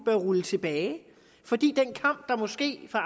rulle tilbage fordi den kamp der måske var